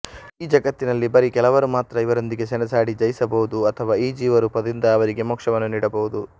ಈ ಜಗತ್ತಿನಲ್ಲಿ ಬರೀ ಕೆಲವರು ಮಾತ್ರ ಇವರೊಂದಿಗೆ ಸೆಣಸಾಡಿ ಜಯಿಸಬಹುದು ಅಥವಾ ಈ ಜೀವರೂಪದಿಂದ ಅವರಿಗೆ ಮೋಕ್ಷವನ್ನು ನೀಡಬಹುದು